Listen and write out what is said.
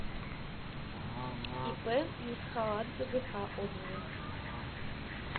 ип мсхаладзе гк отзывы